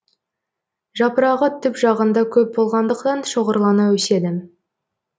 жапырағы түп жағында көп болғандықтан шоғырлана өседі